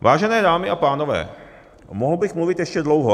Vážené dámy a pánové, mohl bych mluvit ještě dlouho.